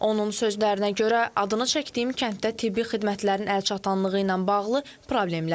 Onun sözlərinə görə adını çəkdiyim kənddə tibbi xidmətlərin əlçatanlığı ilə bağlı problemlər var.